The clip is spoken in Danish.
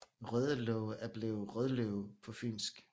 Rødelåge er blevet Rødløve på fynsk